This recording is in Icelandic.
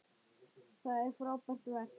Það er frábært verk.